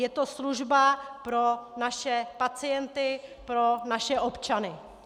Je to služba pro naše pacienty, pro naše občany.